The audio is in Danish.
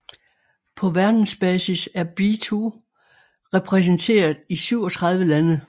På verdensbasis er be2 repræsenteret i 37 lande